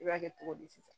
I b'a kɛ cogo di